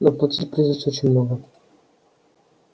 но платить придётся очень много